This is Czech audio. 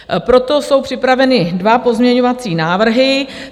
Proto jsou připraveny dva pozměňovací návrhy.